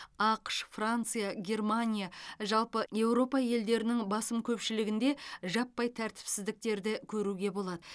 ақш франция германия жалпы еуропа елдерінің басым көпшілігінде жаппай тәртіпсіздіктерді көруге болады